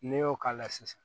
N'i y'o k'a la sisan